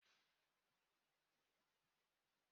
Mma ahụ ọ dị nkọ?